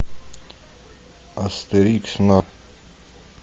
астерикс на